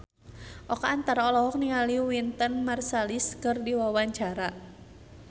Oka Antara olohok ningali Wynton Marsalis keur diwawancara